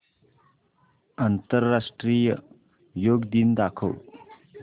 आंतरराष्ट्रीय योग दिन दाखव